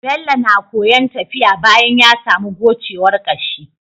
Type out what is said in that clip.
Bello na koyan tafiya bayan yasamu gocewar kashi